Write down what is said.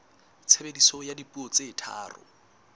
tshebediso ya dipuo tse tharo